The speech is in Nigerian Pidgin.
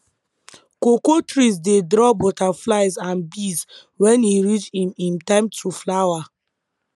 cocoa trees dey draw butterflies and bees when e reach him him time to flower